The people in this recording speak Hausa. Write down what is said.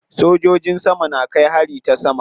Sojojin sama na kai hari ta sama.